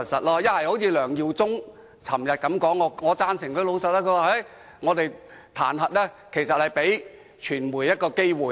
梁耀忠議員昨天發言時很誠實，他說這次彈劾其實是給傳媒一個機會。